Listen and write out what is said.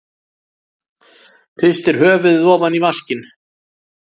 Hristir höfuðið ofan í vaskinn.